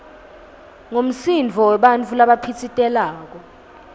ngumsindvo webantfu labaphitsitelako